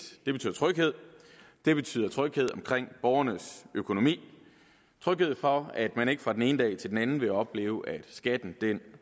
det betyder tryghed omkring borgernes økonomi tryghed for at man ikke fra den ene dag til den anden vil opleve at skatten